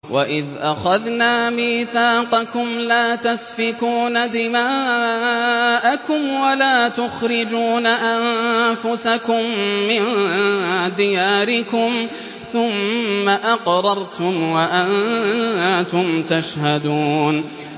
وَإِذْ أَخَذْنَا مِيثَاقَكُمْ لَا تَسْفِكُونَ دِمَاءَكُمْ وَلَا تُخْرِجُونَ أَنفُسَكُم مِّن دِيَارِكُمْ ثُمَّ أَقْرَرْتُمْ وَأَنتُمْ تَشْهَدُونَ